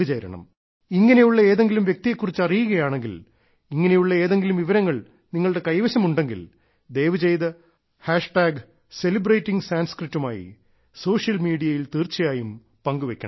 ഇങ്ങനെയുള്ള ഏതെങ്കിലും വ്യക്തിയെക്കുറിച്ച് അറിയുകയാണെങ്കിൽ ഇങ്ങനെയുള്ള ഏതെങ്കിലും വിവരങ്ങൾ നിങ്ങളുടെ കൈവശമുണ്ടെങ്കിൽ ദയവു ചെയ്തു സെലിബ്രേറ്റിംഗ് sanskritമായി സോഷ്യൽ മീഡിയയിൽ തീർച്ചയായും പങ്കുവെക്കണം